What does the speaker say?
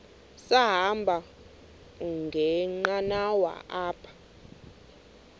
sahamba ngenqanawa apha